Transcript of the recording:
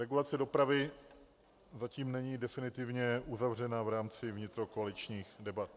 Regulace dopravy zatím není definitivně uzavřena v rámci vnitrokoaličních debat.